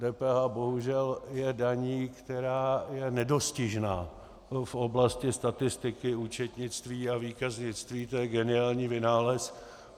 DPH bohužel je daní, která je nedostižná v oblasti statistiky, účetnictví a výkaznictví, to je geniální vynález.